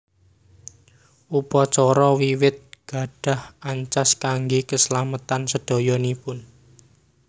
Upacara wiwit gadhah ancas kangge kaslametan sedayanipun